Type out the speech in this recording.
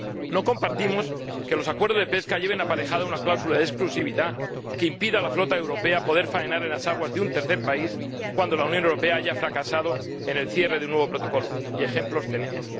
No compartimos que los acuerdos de pesca lleven aparejada una cláusula de exclusividad que impida a la flota europea poder faenar en las aguas de un tercer país cuando la Unión Europea haya fracasado en la conclusión de un nuevo protocolo, y ejemplos, tenemos.